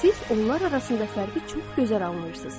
Siz onlar arasında fərqi çox gözəl anlayırsınız.